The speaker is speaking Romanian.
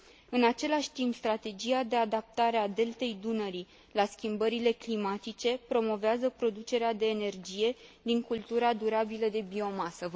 În același timp, strategia de adaptare a Deltei Dunării la schimbările climatice promovează producerea de energie din cultura durabilă de biomasă.